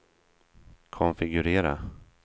konfigurera